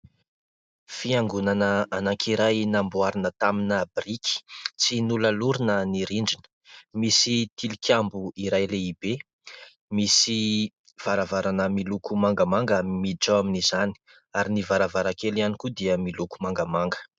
Fiangonana anankiray namboarina tamina biriky. Tsy nolalorina ny rindrina. Misy tilikambo iray lehibe. Misy varavarana miloko mangamanga miditra ao amin'izany ary ny varavarankely ihany koa dia miloko mangamanga.